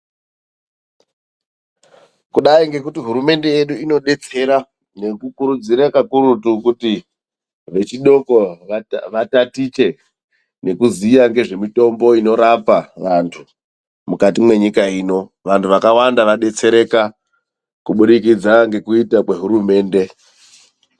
Kudai ngekuti hurumende yedu inodetsera nekukurudzira kakurutu kuti vechidoko vatatiche nekuziya nezvemitombo inorapa vandu mukati menyika ino ,vandu vakawanda vadetsereka kuburikidza kwekuita kwehurumende.